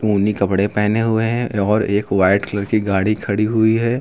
ऊनी कपड़े पहने हुए हैं और एक वाइट कलर की गाड़ी खड़ी हुई है।